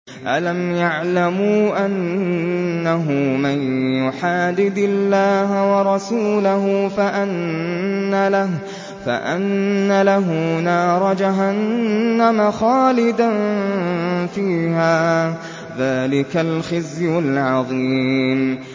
أَلَمْ يَعْلَمُوا أَنَّهُ مَن يُحَادِدِ اللَّهَ وَرَسُولَهُ فَأَنَّ لَهُ نَارَ جَهَنَّمَ خَالِدًا فِيهَا ۚ ذَٰلِكَ الْخِزْيُ الْعَظِيمُ